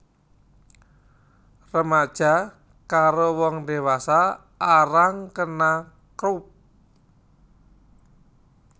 Remaja karo wong dewasa arang kena Croup